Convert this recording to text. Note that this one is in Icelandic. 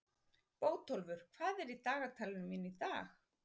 Bótólfur, hvað er í dagatalinu mínu í dag?